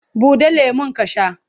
Buɗe lemon ka sha!